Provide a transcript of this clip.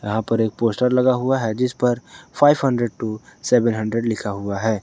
यहां पर एक पोस्टर लगा हुआ है जिस पर five hundred to seven hundred लिखा हुआ है।